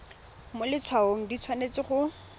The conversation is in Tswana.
mo letshwaong di tshwanetse go